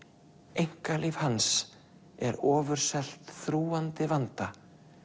einkalíf hans er ofurselt þrúgandi vanda